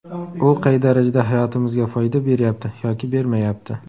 U qay darajada hayotimizga foyda beryapti yoki bermayapti?